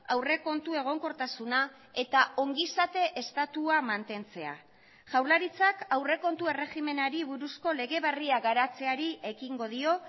aurrekontu egonkortasuna eta ongizate estatua mantentzea jaurlaritzak aurrekontu erregimenari buruzko lege berria garatzeari ekingo dio